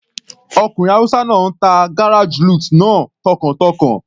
Ọkùnrin hausa náà ń ta garage lute náà tọkàntọkàn.